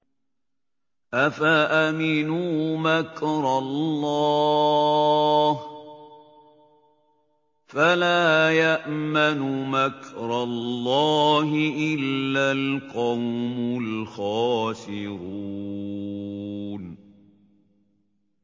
أَفَأَمِنُوا مَكْرَ اللَّهِ ۚ فَلَا يَأْمَنُ مَكْرَ اللَّهِ إِلَّا الْقَوْمُ الْخَاسِرُونَ